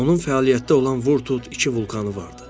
Onun fəaliyyətdə olan Vurtut iki vulkanı vardı.